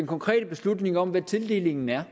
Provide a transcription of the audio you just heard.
konkrete beslutning om hvad tildelingen er